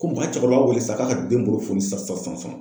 Ko u ka cɛkɔrɔba wele san ka ka den bolo foli sisan sisan .